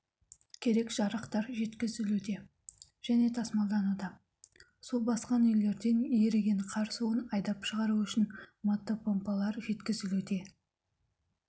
керек жарақтар жеткізілуде және тасмалдануда су басқан үйлерден еріген қар суын айдап шығару үшін мотопомпалар жеткізілуде